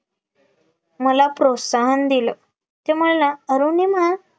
मला प्रोत्साहन दिलं ते मला अरुणिमा